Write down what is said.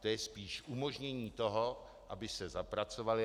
To je spíše umožnění toho, aby se zapracovaly.